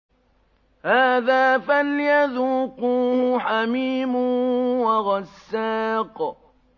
هَٰذَا فَلْيَذُوقُوهُ حَمِيمٌ وَغَسَّاقٌ